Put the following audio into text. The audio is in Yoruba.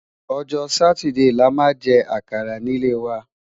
ọjọ Sátidé là má jè àkàrà ní lè wà